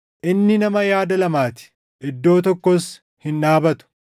inni nama yaada lamaa ti; iddoo tokkos hin dhaabatu.